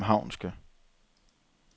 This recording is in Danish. københavnske